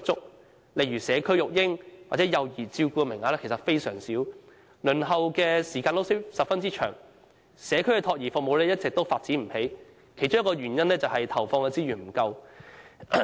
舉例來說，社區育嬰或幼兒照顧的名額非常少，輪候時間十分長，而社區託兒服務一直也發展不理想，其中一個原因是投放資源不足。